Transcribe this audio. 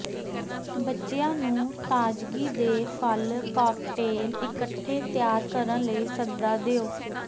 ਬੱਚਿਆਂ ਨੂੰ ਤਾਜ਼ਗੀ ਦੇ ਫਲ ਕਾਕਟੇਲ ਇਕੱਠੇ ਤਿਆਰ ਕਰਨ ਲਈ ਸੱਦਾ ਦਿਓ